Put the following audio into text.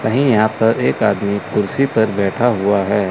कहीं यहां पर एक आदमी कुर्सी पर बैठा हुआ है।